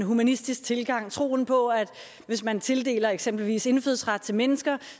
humanistisk tilgang troen på at hvis man tildeler eksempelvis indfødsret til mennesker